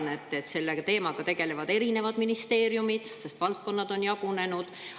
Ma tean, et selle teemaga tegelevad eri ministeeriumid, sest valdkonnad on jagunenud.